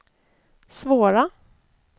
svåra